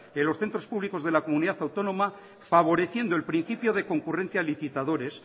en los centros públicos de la comunidad autónoma favoreciendo el principio de concurrencia a licitadores